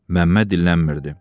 Məmməd dillənmirdi.